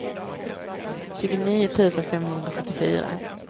tjugonio tusen femhundrasjuttiofyra